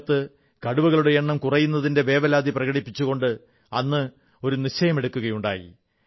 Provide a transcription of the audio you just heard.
ലോകത്ത് കടുവകളുടെ എണ്ണം കുറയുന്നതിൽ വേവലാതി പ്രകടിപ്പിച്ചുകൊണ്ട് അന്ന് ഒരു നിശ്ചയമെടുക്കുകയുണ്ടായി